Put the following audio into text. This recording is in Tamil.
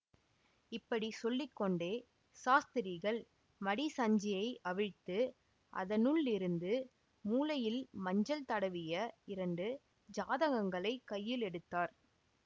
இப்படி சொல்லி கொண்டே சாஸ்திரிகள் மடிசஞ்சியை அவிழ்த்து அதனுள்ளிருந்து மூலையில் மஞ்சள் தடவிய இரண்டு ஜாதகங்களைக் கையில் எடுத்தார்